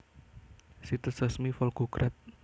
Situs resmi Volgograd